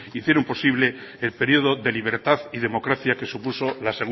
hicieron posible el periodo de libertad y democracia que supuso la